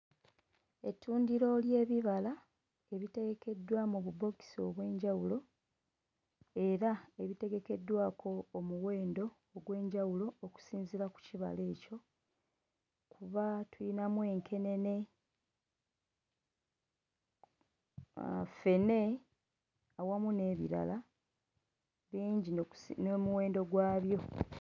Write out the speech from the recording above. Ettundiro ly'ebibala ebiterekeddwa mu bubookisi obw'enjawulo era ebitegekeddwako omuwendo ogw'enjawulo okusinziira ku kibala ekyo kuba tuyinamu enkenene ah, ffene awamu n'ebirala bingi ne n'omuwendo gwabyo.